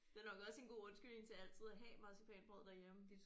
Det er nok også en god undskyldning til altid at have marcipanbrød derhjemme